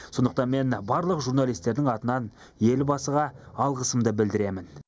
сондықтан мен барлық журналистердің атынан елбасыға алғысымды білдіремін